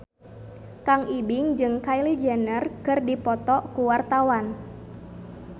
Kang Ibing jeung Kylie Jenner keur dipoto ku wartawan